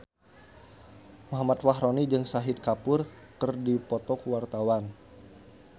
Muhammad Fachroni jeung Shahid Kapoor keur dipoto ku wartawan